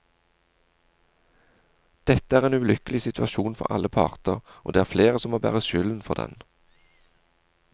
Dette er en ulykkelig situasjon for alle parter, og det er flere som må bære skylden for den.